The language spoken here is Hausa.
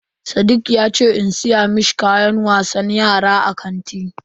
Sadiq yace in siya mishi kayan wasan yara a kanti.